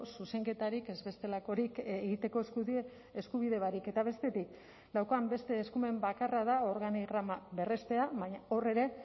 zuzenketarik ez bestelakorik egiteko eskubide barik eta bestetik daukan beste eskumen bakarra da organigrama berrestea baina hor ere